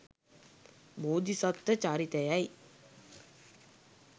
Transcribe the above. බෝධිසත්ව චරිතය යි